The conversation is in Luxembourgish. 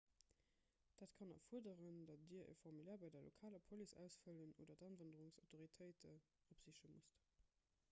dat kann erfuerderen datt dir e formulaire bei der lokaler police ausfëllen oder d'awanderungsautoritéite opsiche musst